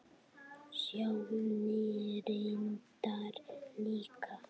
Sjóni reyndar líka.